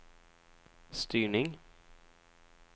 styrning